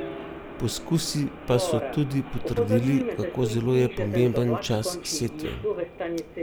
Poskusi pa so tudi potrdili, kako zelo je pomemben čas setve.